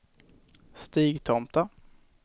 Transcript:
Stigtomta